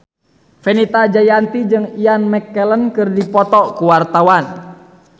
Fenita Jayanti jeung Ian McKellen keur dipoto ku wartawan